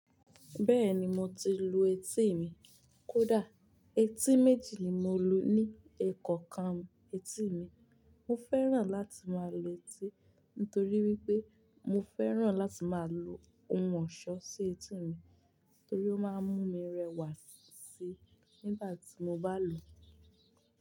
Bẹ́ẹ̀ni mo ti lu etí mi. Kódà, etí méjì ni mo lu ni ẹkọ̀kan etí mi. Mo fẹ́ràn láti máa lu etí nítorí wípé mo fẹ́ràn láti máa lo ohun ọ̀ṣọ́ sí etí mi torí ó máa ń mú mi rẹwà síí nígbà tí mo bá lò ó.